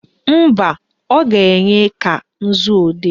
Mba, ọ ga-enye ka nzuodee